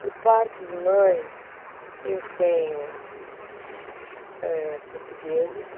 Por parte de mãe, eu tenho eh, portugueses.